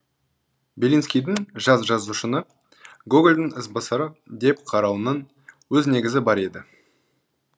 белинскийдің жас жазушыны гогольдің ізбасары деп қарауының өз негізі бар еді